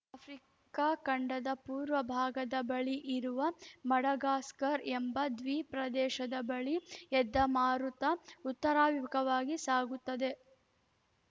Africa ಖಂಡದ ಪೂರ್ವ ಭಾಗದ ಬಳಿ ಇರುವ ಮಡಗಾಸ್ಕರ್‌ ಎಂಬ ದ್ವೀ ಪ್ರದೇಶದ ಬಳಿ ಎದ್ದ ಮಾರುತ ಉತ್ತರಾಭಿಮುಖವಾಗಿ ಸಾಗುತ್ತದೆ